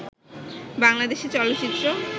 বাংলাদেশে চলচ্চিত্র